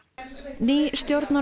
ný stjórnar og